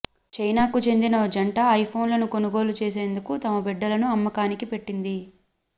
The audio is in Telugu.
చైనాకు చెందిన ఓ జంట ఐఫోన్లను కొనుగోలు చేసేందుకు తమ బిడ్డలను అమ్మకానికి పెట్టింది